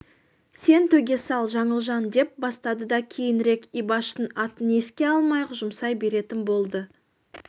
сен төге сал жаңылжан деп бастады да кейінірек ибаштың атын еске алмай-ақ жұмсай беретін болды